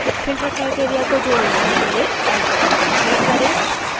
filter criteria को जोड़ने के लिए add button पर click करें